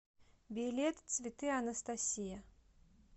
билет цветы анастасия